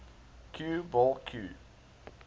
cue ball cue